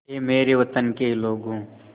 ऐ मेरे वतन के लोगों